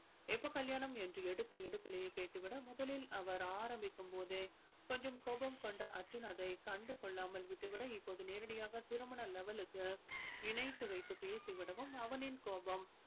எப்ப கல்யாணம் என்று எடுத்து எடுப்பிலேயே கேட்டு விட முதலில் அவர் ஆரம்பிக்கும் போதே கொஞ்சம் கோபம் கொண்ட அர்ஜுன் அதை கண்டு கொள்ளாமல் விட்டு விட இப்போது நேரடியாக திருமண level க்கு இணைத்து வைத்து பேசி விடவும் அவனின் கோபம்